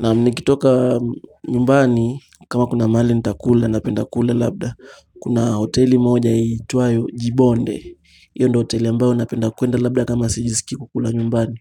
Nam nikitoka nyumbani kama kuna mahali nitakula napenda kula labda kuna hoteli moja iitwayo jibonde hiyo ndo hoteli ambayo napenda kwenda labda kama sijisiki kula nyumbani